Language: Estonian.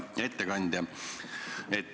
Hea ettekandja!